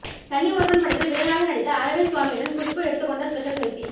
தனி ஒருவன் படத்தில் வில்லனாக நடித்த அரவிந்த் சுவாமியுடன் குஷ்பு எடுத்துக் கொண்ட ஸ்பெஷல் செல்பி